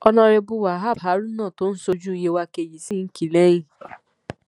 ọnàrẹbù wahab haruna tó ń ṣojú yewa kejì sì kín in lẹ́yìn